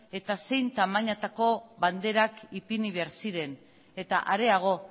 eta zein tamainatako banderak ipini behar ziren eta areago